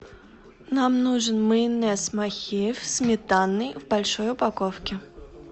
нам нужен майонез махеев сметанный в большой упаковке